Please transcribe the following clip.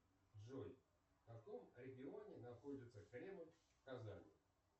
джой в каком регионе находится кремль в казани